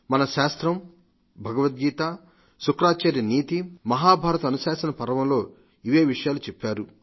మన శాస్త్రం భగవద్గీత శుక్రాచార్య నీతి మహాభారత అనుశాసన పర్వంలో ఇవే విషయాలు చెప్పారు